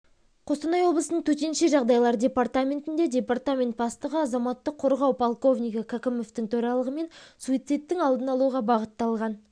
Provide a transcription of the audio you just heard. қостанай облысының төтенше жағдайлар департаментінде департамент бастығы азаматтық қорғау полковнигі кәкімовтың төрағалығымен суицидтің алдын алуға бағытталған